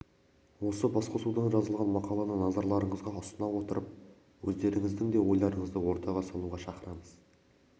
осы басқосудан жазылған мақаланы назарларыңызға ұсына отырып өздеріңіздің де ойларыңызды ортаға салуға шақырамыз